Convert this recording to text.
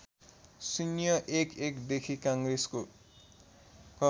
०११ देखि काङ्ग्रेसको